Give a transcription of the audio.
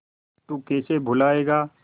तू कैसे भूलाएगा